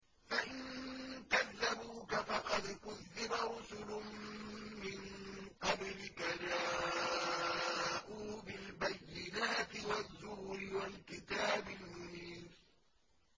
فَإِن كَذَّبُوكَ فَقَدْ كُذِّبَ رُسُلٌ مِّن قَبْلِكَ جَاءُوا بِالْبَيِّنَاتِ وَالزُّبُرِ وَالْكِتَابِ الْمُنِيرِ